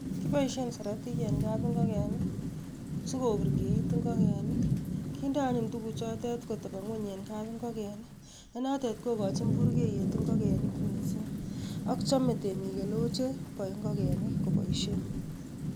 Kiboishen siratik en kabingoken sikoburkeit ingoneik kindo anyun tukuchotet kotobon ngweny en kabingoken nenotet kokochin burkeiyet ing'okenik mising ak chome temik olewoo cheboe ing'okenik koboishen.